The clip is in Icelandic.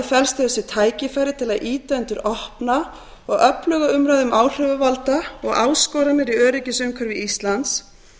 felst í þessu tækifæri til að ýta undir opna og öfluga umræðu um áhrifavalda og áskoranir í öryggisumhverfi íslands